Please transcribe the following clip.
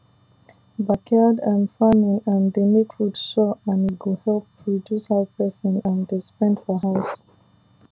backyard um farming um dey make food sure and e go help reduce how person um dey spend for house